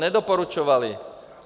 Nedoporučovali.